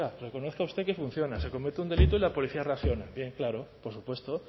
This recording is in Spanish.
reconozca usted que funciona se comete un delito y la policía reacciona bien claro por supuesto